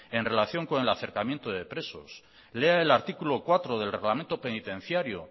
en relación con el acercamiento de presos lea el artículo cuatro del reglamento penitenciario